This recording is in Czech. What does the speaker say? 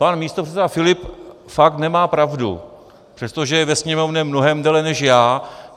Pan místopředseda Filip fakt nemá pravdu, přestože je ve Sněmovně mnohem déle než já.